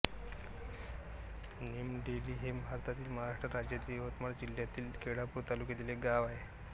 निमडेली हे भारतातील महाराष्ट्र राज्यातील यवतमाळ जिल्ह्यातील केळापूर तालुक्यातील एक गाव आहे